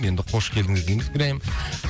енді қош келдіңіз дейміз гүләйім